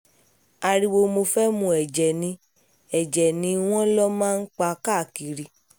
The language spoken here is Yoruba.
ariwo mo fẹ́ẹ́ mú ẹ̀jẹ́ ni ẹ̀jẹ́ ni wọ́n lọ máa ń pa káàkiri